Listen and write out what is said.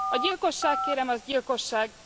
A gyilkosság kérem, az gyilkosság.